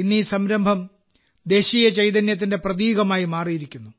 ഇന്ന് ഈ സംരംഭം ദേശീയ ചൈതന്യത്തിന്റെ പ്രതീകമായി മാറിയിരിക്കുന്നു